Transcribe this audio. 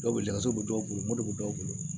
Dɔw bɛ lakazu bɛ dɔw bolo mori dɔw bolo